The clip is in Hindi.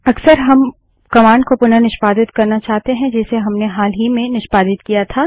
अक्सर हम कमांड को पुनः निष्पादित करना चाहते हैं जिसे हमने हाल ही में निष्पादित किया था